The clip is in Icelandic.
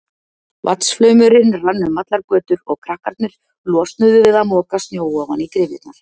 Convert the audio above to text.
Vatnsflaumurinn rann um allar götur og krakkarnir losnuðu við að moka snjó ofan í gryfjurnar.